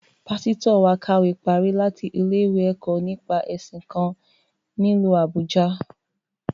Pásítọ̀ wa kàwé parí láti ilé-ìwé ẹ̀kọ́ nípa ẹ̀sìn kan, nílu Àbújâ